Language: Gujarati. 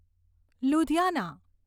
લુધિયાના